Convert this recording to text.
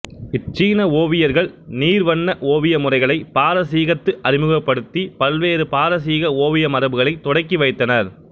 இச் சீன ஓவியர்கள் நீர்வண்ண ஓவிய முறைகளைப் பாரசீகத்துக்கு அறிமுகப்படுத்திப் பல்வேறு பாரசீக ஓவிய மரபுகளைத் தொடக்கி வைத்தனர்